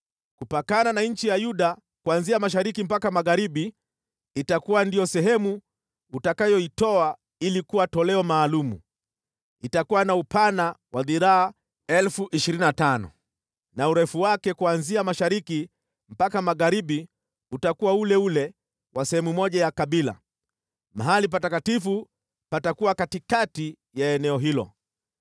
“Kupakana na nchi ya Yuda kuanzia mashariki mpaka magharibi itakuwa ndiyo sehemu utakayoitoa ili kuwa toleo maalum. Itakuwa na upana wa dhiraa 25,000 na urefu wake kuanzia mashariki mpaka magharibi utakuwa ule ule wa sehemu moja ya kabila, mahali patakatifu patakuwa katikati ya eneo hilo.